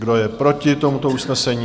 Kdo je proti tomuto usnesení?